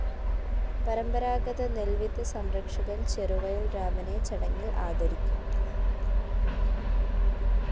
പരമ്പരാതഗത നെല്‍വിത്ത് സംരക്ഷകന്‍ ചെറുവയല്‍ രാമനെ ചടങ്ങില്‍ ആദരിക്കും